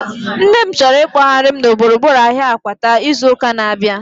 Nne m chọrọ ikpoghari m na gburugburu ahia Akwata izu ụka na-abịa